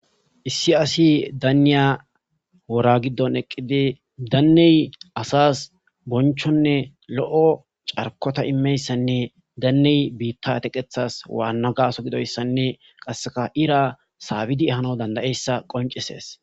Issi asi daniya wora gidon eqidi danne asas bonchonne lo'o carkota imiyayisane danne biita teketas wanna gaaso gidoysane kaseka ira saabidi ehanawu danda'iyasa qonchises.